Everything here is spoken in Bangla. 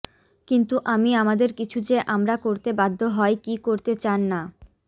কিন্তু আমি আমাদের কিছু যে আমরা করতে বাধ্য হয় কি করতে চান না